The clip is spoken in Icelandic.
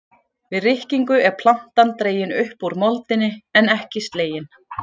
Við rykkingu er plantan dregin upp úr moldinni en ekki slegin.